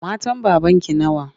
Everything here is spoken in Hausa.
Matan babanki nawa?